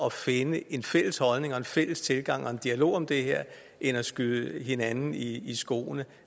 at finde en fælles holdning og en fælles tilgang og have en dialog om det her end at skyde hinanden i skoene